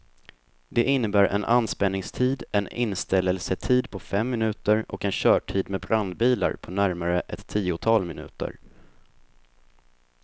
Det innebär en anspänningstid en inställelsetid på fem minuter och en körtid med brandbilar på närmare ett tiotal minuter.